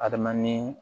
Adama ni